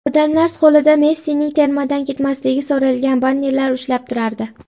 Odamlar qo‘lida Messining termadan ketmasligi so‘ralgan bannerlar ushlab turardi.